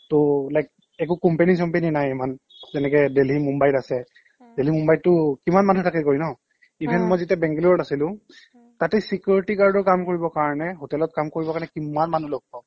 টৌ like একো company company নাই ইমান তেনেকে দেলহি মোম্বাইত আছে উম্ দেলহি মোম্বাইতটো কিমান মানুহে গৈ থাকে ন অ even মই যেতিয়া বেংগালোৰত আছিলো তাতে security guard ৰ কাম কৰিবৰ কাৰণে hotel ত কাম কৰিবৰ কাৰণে কিমান মানুহ লগ পাও